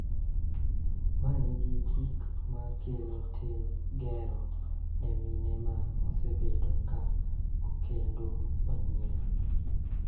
Ma nigi gik ma kelo tim gero ne mine ma osebedo ka okendo manyien.